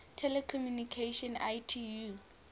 telecommunication union itu